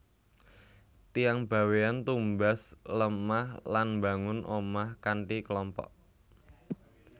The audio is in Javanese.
Tiyang Bawean tumbas lemah lan mbangun omah kanthi kelompok